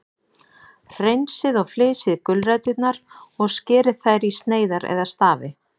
Hreinsið og flysjið gulræturnar og skerið þær í sneiðar eða stafi.